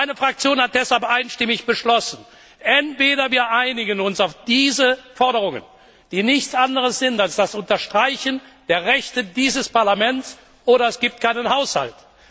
Meine Fraktion hat deshalb einstimmig beschlossen Entweder wir einigen uns auf diese Forderungen, die nichts anderes sind als das Unterstreichen der Rechte dieses Parlaments, oder es gibt keinen Haushalt.